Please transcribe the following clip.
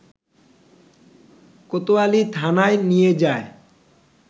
কোতোয়ালি থানায় নিয়ে যায়